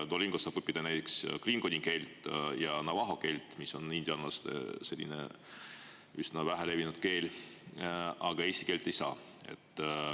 Duolingos saab õppida näiteks klingoni keelt ja navaho keelt, mis on indiaanlaste üsna vähe levinud keel, aga eesti keelt ei saa.